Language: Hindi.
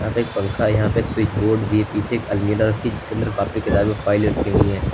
यहां पे एक पंखा यहां पे स्विच बोर्ड भी पीछे एक अलमीरा रखी जिसके अंदर कॉपी किताबें फाइले रखी हुई हैं।